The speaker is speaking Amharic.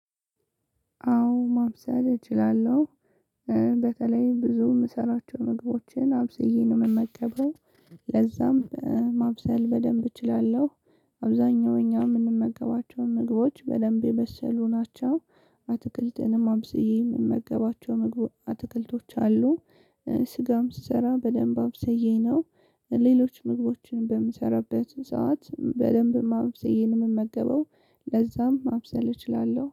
አዎ ማብሰል እችላለሁ፤ በተለይ ብዙ የምሰራቸው ምግቦችን አብስዬ ነው የምመገበው ለዛም ማብሰል በደንብ እችላለሁ። አብዛኛው እኛ የምንመገባቸውን ምግቦች በደንብ የበሰሉ ናቸው። አትክልትንም አብስዬ የምመገባቸው ምግብ አትክልቶች አሉ፤ ስጋም ስሰራ በደንብ አብሰዬ ነው። ሌሎች ምግቦችን በምሰራበት ሰዓት በደንብ ማብስዬ ነው የምመገበው ለዛም ማብሰል እችላለሁ።